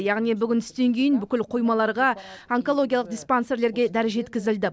яғни бүгін түстен кейін бүкіл қоймаларға онкологиялық диспансерлерге дәрі жеткізілді